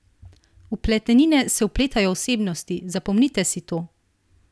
V pletenine se vpletajo osebnosti, zapomnite si to!